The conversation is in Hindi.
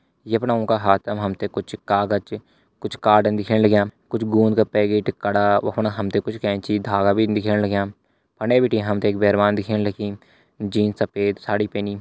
यफणा ऊंका हाथम हमते कुछ कागज कुछ कॉर्डन दिखेण लग्याँ कुछ गोँद का पैकेट कड़ा वफण हमते कुछ कैंची धागा भी दिखेण लग्यां फंडे बटी हमते एक बैरवान दिखेण लगीं जीन सफ़ेद साड़ी पैनी।